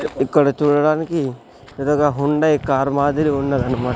ఇక్కడ చూడడానికి ఎదురుగా హుండై కారు మాదిరి ఉన్నదన్నమా--